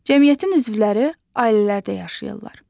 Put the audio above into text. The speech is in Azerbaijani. Cəmiyyətin üzvləri ailələrdə yaşayırlar.